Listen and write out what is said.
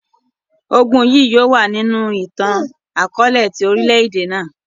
Ogun yii yóò wa ninu itan-akọọlẹ ti orilẹ-ede naa.